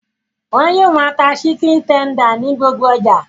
Wọ́n yóò máa ta síkìn tender ní gbogbo ọjà